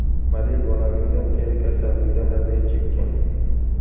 Model bolaligidan teri kasalligidan aziyat chekkan.